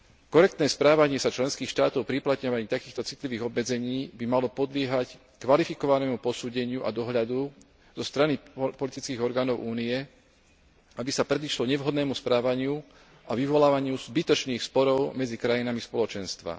Korektné správanie sa členských štátov pri uplatňovaní takýchto citlivých obmedzení by malo podliehať kvalifikovanému posúdeniu a dohľadu zo strany politických orgánov Únie, aby sa predišlo nevhodnému správaniu a vyvolávaniu zbytočných sporov medzi krajinami Spoločenstva.